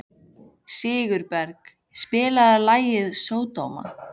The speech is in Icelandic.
Sigurberg, spilaðu lagið „Sódóma“.